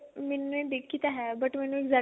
ਮੈਨੇ ਦੇਖੀ ਤਾਂ ਹੈ but ਮੈਨੂੰ exact